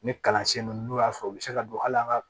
Ni kalansen ninnu n'u y'a sɔrɔ u bɛ se ka don hali an ka